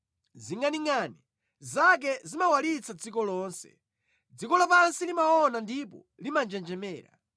Zingʼaningʼani zake zimawalitsa dziko lonse; dziko lapansi limaona ndipo limanjenjemera.